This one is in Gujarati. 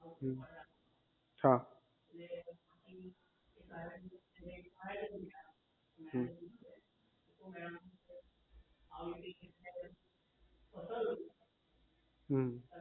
હમ હા